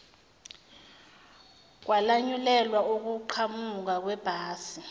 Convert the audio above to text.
kwalanyulelwa ukuqhamuka kwebhasi